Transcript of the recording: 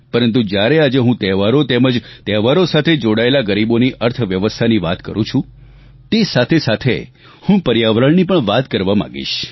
પરંતુ જ્યારે આજે હું તહેવારો તેમજ તહેવારો સાથે જોડાયેલા ગરીબોની અર્થવ્યવસ્થાની વાત કરું છું તે સાથેસાથે હું પર્યાવરણની પણ વાત કરવા માગીશ